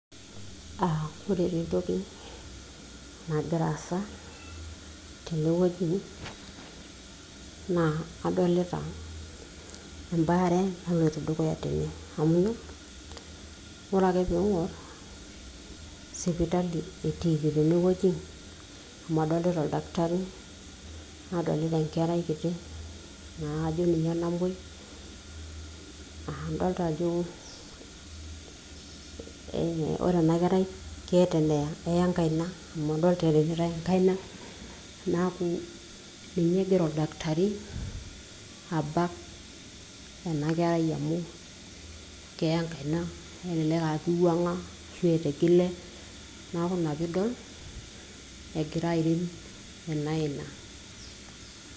uh, ore taa entoki nagira asa tenewueji naa adolita embaare naloito dukuya tene amu ore ake pingorr sipitali etiiki tenewueji amu adolta oldakitari nadolita enkerai kiti naa ajo ninye namuoi uh, indolta ajo eh ore enakerai keeta eneya eya enkaina amu adolita eripitae enkaina naku ninye egira oldakitari abak ena kerai amu keya enkaina elelek aa kiwuang'a ashu etigile naku ina piidol egira airin ena aina.